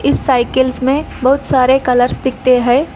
इस साइकिल्स में बहुत सारे कलर्स दिखते हैं।